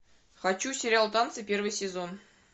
хочу сериал танцы первый сезон